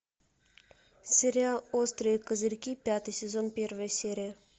сериал острые козырьки пятый сезон первая серия